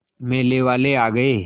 मेले वाले आ गए